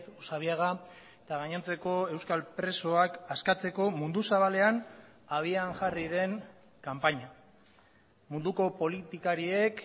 usabiaga eta gainontzeko euskal presoak askatzeko mundu zabalean abian jarri den kanpaina munduko politikariek